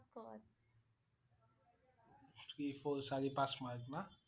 Three, four চাৰি, পাঁচ mark না?